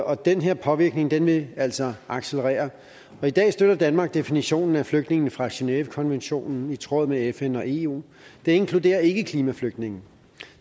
og den her påvirkning vil altså accelerere i dag støtter danmark definitionen af flygtninge fra genèvekonventionen i tråd med fn og eu det inkluderer ikke klimaflygtninge